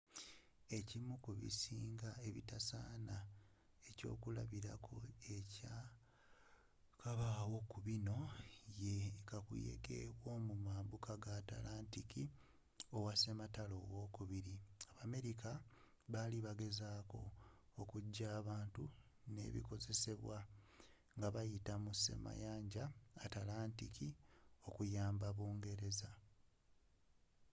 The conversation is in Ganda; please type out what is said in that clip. ekimu ku bisinga ebitasaana ekyokulabilako ekyakabaawo ku binno ye kakuyege w’omumabuka ga atlantic owa wwii.abameriaca baali bagezaako okujayo abantu n’ebikozesebwa nga bayita mu semayanja atlantic okuamba britain